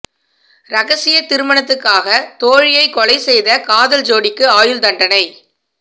ரகசிய திருமணத்துக்காக தோழியை கொலை செய்த காதல் ஜோடிக்கு ஆயுள் தண்டனை